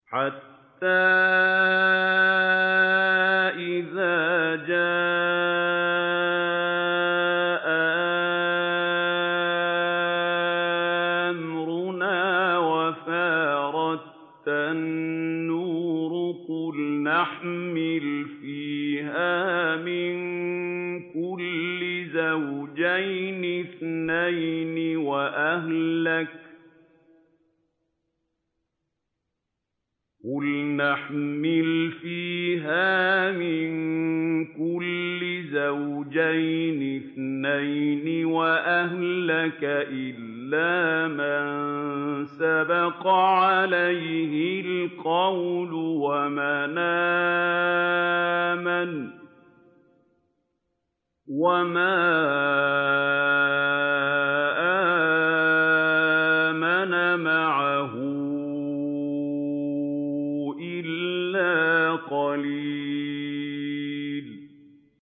حَتَّىٰ إِذَا جَاءَ أَمْرُنَا وَفَارَ التَّنُّورُ قُلْنَا احْمِلْ فِيهَا مِن كُلٍّ زَوْجَيْنِ اثْنَيْنِ وَأَهْلَكَ إِلَّا مَن سَبَقَ عَلَيْهِ الْقَوْلُ وَمَنْ آمَنَ ۚ وَمَا آمَنَ مَعَهُ إِلَّا قَلِيلٌ